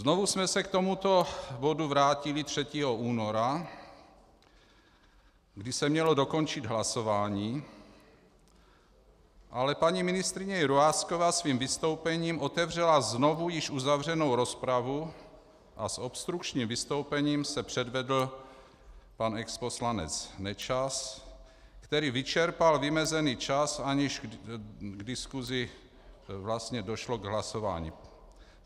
Znovu jsme se k tomuto bodu vrátili 3. února, kdy se mělo dokončit hlasování, ale paní ministryně Jurásková svým vystoupením otevřela znovu již uzavřenou rozpravu a s obstrukčním vystoupením se předvedl pan exposlanec Nečas, který vyčerpal vymezený čas, aniž v diskusi vlastně došlo k hlasování.